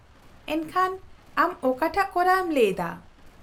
-ᱮᱱᱠᱷᱟᱱ ᱟᱢ ᱚᱠᱟᱴᱟᱜ ᱠᱚᱨᱟᱣᱮᱢ ᱞᱟᱹᱭ ᱮᱫᱟ ?